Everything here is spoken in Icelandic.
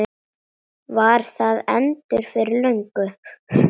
Var það endur fyrir löngu?